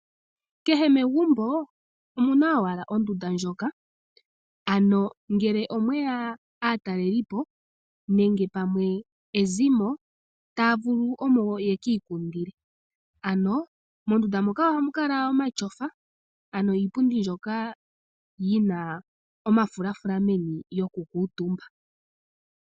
Kehe megumbo omuna owala ondunda ndjoka ano ngele omweya aatalelipo nenge pamwe ezimo taya vulu omo yeki ikundile. Ano mondunda moka ohamu kala mu na omatyofa ano iipundi mbyoka yi na omafulafula meni yoku kuutumba.